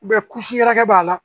kusi yɛrɛkɛ b'a la